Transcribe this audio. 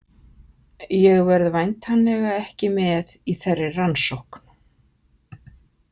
Ég verð væntanlega ekki með í þeirri rannsókn.